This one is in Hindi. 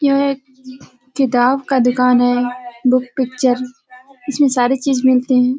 यह एक किताब का दुकान है बुक पिक्चर । इसमें सारे चीज मिलते हैं।